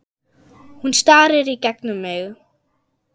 Hún starir í gegnum mig.